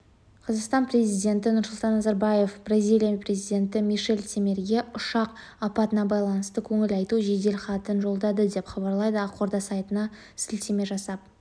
қазақстан президенті нұрсұлтан назарбаев бразилия президенті мишел темерге ұшақ апатына байланысты көңіл айту жеделхатын жолдады деп хабарлайды ақорда сайтына сілтеме жасап